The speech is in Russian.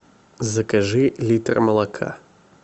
закажи литр молока